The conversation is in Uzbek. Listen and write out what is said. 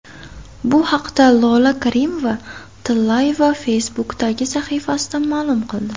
Bu haqda Lola Karimova-Tillayeva Facebook’dagi sahifasida ma’lum qildi .